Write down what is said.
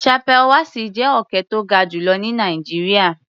Chappal Wassi jẹ́ òkè tó ga jù lọ ní Nàìjíríà.